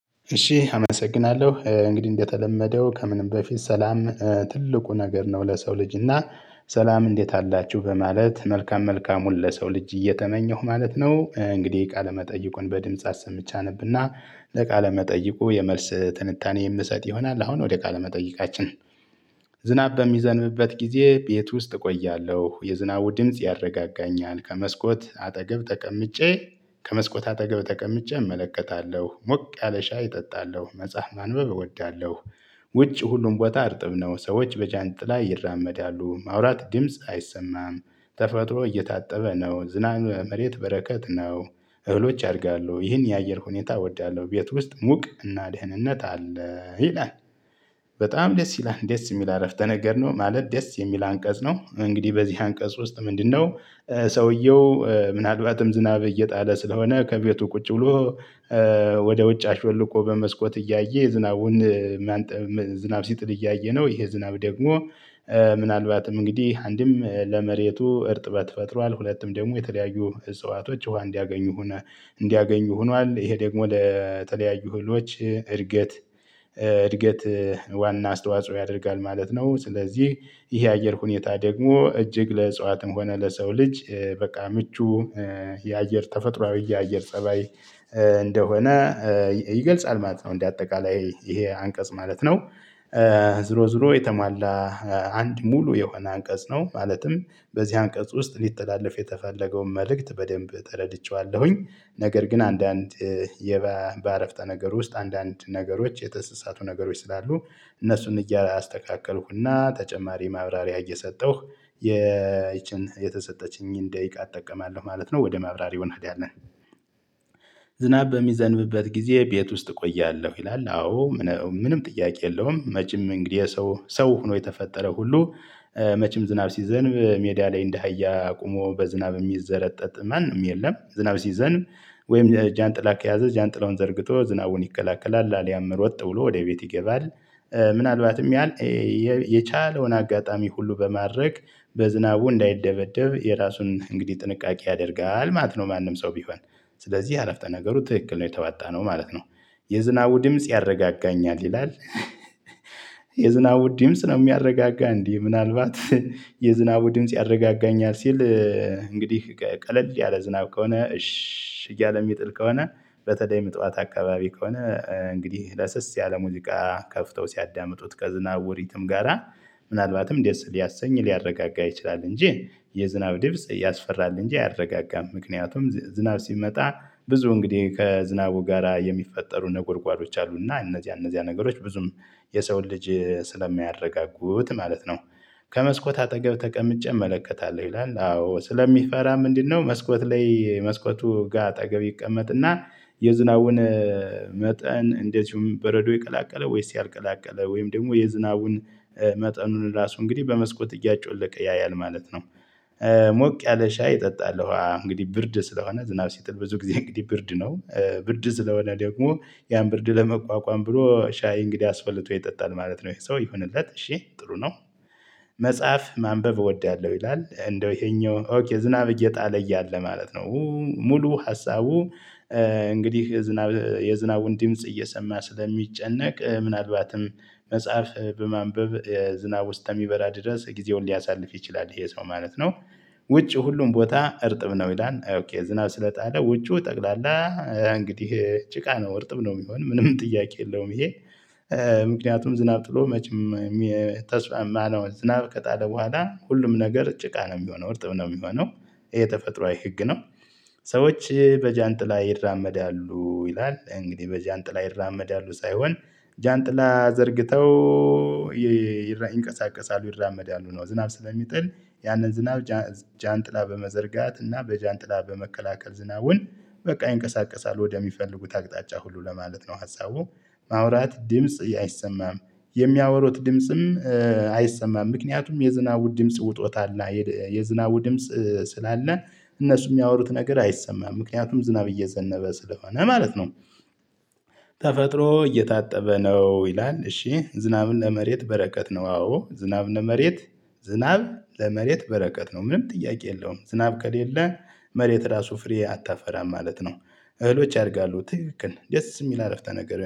እሺ አመሰግናለሁ እንግዲህ እንደተለመደው ከምንም በፊት ሰላም ትልቁ ነገር ነው ለሰው ልጅ እና ሰላም እንዴት አላችሁ በማለት መልካም መልካሙን ለሰው ልጅ እየተመኘሁ ማለት ነው። እንግዲህ ቃለ መጠይቁን በድምጽ አሰምቼ አነብና ለቃለ መጠይቁ የመልስ ትንታኔ የምሰጥ ይሆናል አሁን ወደ ቃለ መጠይቃችን። ዝናብ በሚዘንብበት ጊዜ ቤት ውስጥ እቆያለሁ የዝናቡ ድምጽ ያረጋጋኛል። ከመስኮት አጠገብ ተቀምጬ ከመስኮት አጠገብ ተቀምጬ እመለከታለሁ ሞቅ ያለ ሻይ እጠጣለሁ መጽሐፍ ማንበብ እወዳለሁ። ውጭ ሁሉም ቦታ እርጥብ ነው ሰዎች በጃንጥላ ይራመዳሉ ማውራት ድምጽ አይሰማም። ተፈጥሮ እየታጠበ ነው ዝናብ መሬት በረከት ነው። እህሎች ያድጋሉ ይህን የአየር ሁኔታ እወዳለሁ ቤት ውስጥ ሙቅ እና ደህንነት አለ ይላል። በጣም ደስ ይላል ደስ የሚል አረፍተ ነገር ነው። ማለት ደስ የሚል አንቀጽ ነው። እንግዲህ በዚህ አንቀጽ ውስጥ ምንድነው? ሰውየው ምናልባትም ዝናብ እየጣለ ስለሆነ ከቤቱ ቁጭ ብሎ ወደ ውጭ አሾልቆ በመስኮት እያየ ዝናቡን። ዝናብ ሲጥል እያየ ነው። ይሄ ዝናብ ደግሞ ምናልባትም እንግዲህ አንድም ለመሬቱ እርጥበት ፈጥሯል። ሁለቱም ደግሞ የተለያዩ እጽዋቶች ውሃ እንዲያገኙ ሆነ እንዲያገኙ ሆኗል። ይሄ ደግሞ ለተለያዩ ህልዎች እድገት እድገት ዋና አስተዋጽኦ ያደርጋል ማለት ነው። ስለዚህ ይሄ የአየር ሁኔታ ደግሞ እጅግ ለእጽዋትም ሆነ ለሰው ልጅ። በቃ ምቹ የአየር ተፈጥሮአዊ የአየር ፀባይ እንደሆነ ይገልጻል ማለት ነው። እንደ አጠቃላይ ይሄ አንቀጽ ማለት ነው። ዝሮ ዝሮ የተሟላ አንድ ሙሉ የሆነ አንቀጽ ነው። ማለትም በዚህ አንቀጽ ውስጥ ሊተላለፍ የተፈለገውን መልእክት በደንብ ተረድቼዋለሁኝ። ነገር ግን አንዳንድ በአረፍተ ነገር ውስጥ አንዳንድ ነገሮች የተሰሳቱ ነገሮች ስላሉ እነሱን እያስተካከልን ተጨማሪ ማብራሪያ እየሰጠሁ ይቺን የተሰጠችኝን ደቂቃ እጠቀማለሁ ማለት ነው። ወደ ማብራሪ ይሆናል ያለን። ዝናብ በሚዘንብበት ጊዜ ቤት ውስጥ እቆያለሁ ይላል። አዎ ምንም ጥያቄ የለውም። መቼም እንግዲህ ሰው ሰው ሆኖ የተፈጠረው ሁሉ መቼም ዝናብ ሲዘንብ ሜዳ ላይ እንደ አሀያ ቁሞ በዝናብ የሚዘረጠጥ ማንም የለም። ዝናብ ሲዘንብ ወይም ጃንጥላ ከያዘ ጃንጥሎን ዘርግቶ ዝናቡን ይከላከላል አሊያም ሮጥ ብሎ ወደ ቤት ይገባል። ምናልባትም ያህል የቻለውን አጋጣሚ ሁሉ በማድረግ በዝናቡ እንዳይደበደብ የራሱን እንግዲህ ጥንቃቄ ያደርጋል ማለት ነው። ማንም ሰው ቢሆን ስለዚህ አረፍተ ነገሩ ትክክል ነው የተዋጣነው ማለት ነው። የዝናቡ ድምጽ ያረጋጋኛል ይላል። የዝናቡ ድምጽ ነው የሚያረጋጋ እንዴ? ምናልባት የዝናቡ ድምጽ ያረጋጋኛል ሲል። እንግዲህ ቀለል ያለ ዝናብ ከሆነ እሽ እያለ የሚጥል ከሆነ በተለይም ጥዋት አካባቢ ከሆነ እንግዲህ ለስስ ያለ ሙሉቃ ከፍተው ሲያዳምጡት ከዝናብ ሪትም ጋራ ምናልባትም ደስ ሊያሰኝ ሊያረጋጋ ይችላል። እንጂ የዝናብ ድምጽ ያስፈራል እንጂ አያረጋጋም። ምክንያቱም ዝናብ ሲመጣ ብዙ እንግዲህ ከዝናቡ ጋራ የሚፈጠሩ ነጎርጓዶች አሉና እነዚህ እነዚህ ነገሮች ብዙም የሰውን ልጅ ስለሚያረጋጉት ማለት ነው። ከመስኮት አጠገብ ተቀምጬ እመለከታለሁ ይላል። አዎ ስለሚፈራ ምንድነው? መስኮት ላይ መስኮቱ ጋ አጠገብ ይቀመጥና የዝናቡን መጠን እንደዚሁም በረዶ ይቀላቀለ ወይስ ያልቀላቀለ ወይም ደግሞ የዝናቡን መጠኑን ራሱ እንግዲህ በመስኮት እያጮለቀ ያያል ማለት ነው። ሞቅ ያለ ሻይ እጠጣለሁ እንግዲህ ብርድ ስለሆነ ዝናብ ሲጥል ብዙ ጊዜ እንግዲህ ብርድ ነው። ብርድ ስለሆነ ደግሞ ያን ብርድ ለመቋቋም ብሎ ሻይ እንግዲህ አስፈልቶ ይጠጣል ማለት ነው። ይሄ ሰው ይሆንለት እሺ ጥሩ ነው። መጽሐፍ ማንበብ እወዳለሁ ይላል። እንደው ይሄኛው ዝናብ እየጣለ እያለ ማለት ነው ሙሉ ሀሳቡ እንግዲህ የዝናብ የዝናቡን ድምጽ እየሰማ ስለሚጨነቅ ምናልባትም መጽሐፍ በማንበብ ዝናቡ እስከ ሚበራ ድረስ ጊዜውን ሊያሳልፍ ይችላል ይሄ ሰው ማለት ነው። ውጪ ሁሉም ቦታ እርጥብ ነው ይላል። ዝናብ ስለጣለ ውጪው ጠቅላላ እንግዲህ ጭቃ ነው እርጥብ ነው የሚሆን ምንም ጥያቄ የለውም። ይሄ ምክንያቱም ዝናብ ጥሎ መቼም ዝናብ ከጣለ በኋላ ሁሉም ነገር ጭቃ ነው የሚሆነው እርጥብ ነው የሚሆነው ይሄ ተፈጥሮአዊ ህግ ነው። ሰዎች በጃንጥላ ይራመዳሉ ይላል እንግዲህ በጃንጥላ ይራመዳሉ ሳይሆን ጃንጥላ ዘርግተው ይንቀሳቀሳሉ ይራመዳሉ ነው። ዝናብ ስለሚጥል ያንን ዝናብ ጃንጥላ በመዘርጋት እና በጃንጥላ በመከላከል ዝናቡን በቃ ይንቀሳቀሳል ወደሚፈልጉት አቅጣጫ ሁሉ ለማለት ነው። ሀሳቡ ማውራት ድምጽ አይሰማም። የሚያወሩት ድምጽም አይሰማም ምክንያቱም የዝናቡ ድምጽ ውጦታአል የዝናቡ ድምጽ ስላለ እነሱ የሚያወሩት ነገር አይሰማም ምክንያቱም ዝናብ እየዘነበ ስለሆነ ማለት ነው። ተፈጥሮ እየታጠበ ነው ይላል። እሺ ዝናብን ለመሬት በረከት ነው አዎ ዝናብ ለመሬት ዝናብ ለመሬት በረከት ነው። ምንም ጥያቄ የለውም ዝናብ ከሌለ መሬት ራሱ ፍሬ አታፈራም ማለት ነው። እህሎች ያድጋሉ ትክክል ደስ የሚል አረፍታ ነገር